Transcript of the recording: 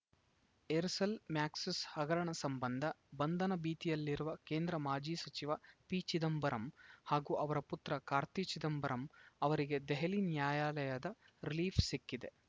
Aircel ಮ್ಯಾಕ್ಸಿಸ್‌ ಹಗರಣ ಸಂಬಂಧ ಬಂಧನ ಭೀತಿಯಲ್ಲಿರುವ ಕೇಂದ್ರ ಮಾಜಿ ಸಚಿವ ಪಿಚಿದಂಬರಂ ಹಾಗೂ ಅವರ ಪುತ್ರ ಕಾರ್ತಿ ಚಿದಂಬರಂ ಅವರಿಗೆ ದೆಹಲಿ ನ್ಯಾಯಾಲಯದ ರಿಲೀಫ್‌ ಸಿಕ್ಕಿದೆ